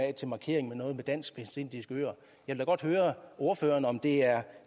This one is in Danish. af til markering af noget med de dansk vestindiske øer jeg vil godt høre ordføreren om det er